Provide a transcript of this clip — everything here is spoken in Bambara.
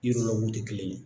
tɛ kelen ye.